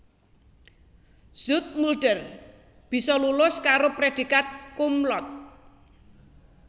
Zoetmulder bisa lulus karo prédhikat cum laude